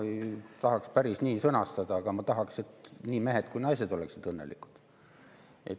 Ma ei tahaks päris nii sõnastada, aga ma tahaks, et nii mehed kui ka naised oleksid õnnelikud.